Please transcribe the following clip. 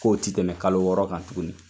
K'o tɛ tɛmɛ kalo wɔɔrɔ kan tuguni.